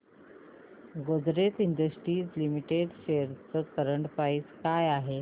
Godrej industries limited shares ची current price काय आहे